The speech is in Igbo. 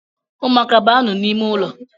Umuaka banu n’ime ụlọ